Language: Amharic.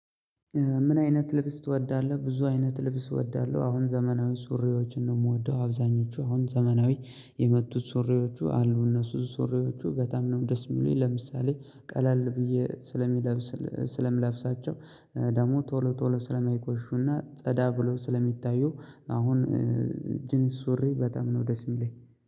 ምን አይነት ልብስ ትወዳለሁ ብዙ አይነት ልብስ እወዳለሁ አሁን ዘመናዊ ሱሪዎችን ነው የምወደው። አብዛኞቹ አሁን ዘመናዊ የመጡት ሱሪዎቹ አሉ እነሱ ሱሪዎቹ በጣም ነው ደስ የሚሉኝ። ለምሳሌ ቀለል ብዬ ስለምለብስ ስለምለብሳቸው ደግሞ ቶሎ ቶሎ ስለማይቆሹና ጸዳ ብሎ ስለሚታዩ። አሁን ጅንስ ሱሪ በጣም ነው ደስ የሚለኝ